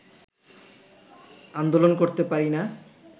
আন্দোলন করতে পারিনা